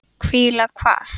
Hvíla hvað?